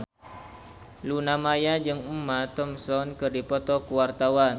Luna Maya jeung Emma Thompson keur dipoto ku wartawan